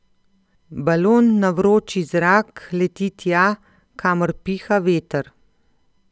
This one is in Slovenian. Balon na vroči zrak leti tja, kamor piha veter.